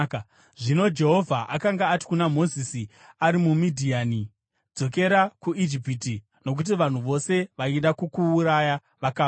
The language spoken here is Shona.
Zvino Jehovha akanga ati kuna Mozisi ari muMidhiani, “Dzokera kuIjipiti, nokuti vanhu vose vaida kukuuraya vakafa.”